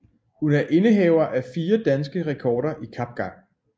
Hun er indehaver af fire danske rekorder i kapgang